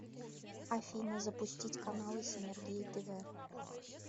афина запустить каналы синергия тв